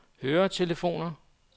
høretelefoner